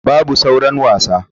Babu sauran wasa.